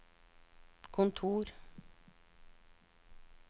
kontor